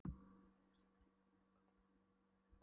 Hér er Reykjavík séð með augum Kaupmannahafnarbúans, en